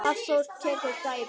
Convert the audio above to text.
Hafþór tekur dæmi.